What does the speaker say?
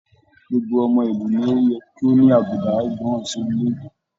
Gbogbo ọmọ ìlú ní o yẹ ko ní àbùdá ìgbọràn sí orilẹ-èdè.